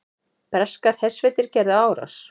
Breskar hersveitir gerðu árás